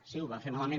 sí ho vam fer malament